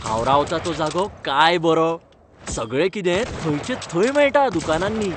हांव रावता तो जागो काय बरो. सगळें कितें थंयचे थंय मेळटा दुकानांनी.